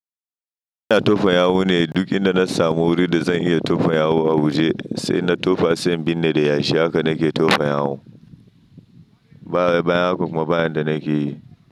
Ina tofa yawu ne duk inda na samu wuri da zan iya tofa yawu a waje sai na tofa, sai binne da yashi haka nake tofa yawu. Ba baya kuma ba hanyar da nake yi.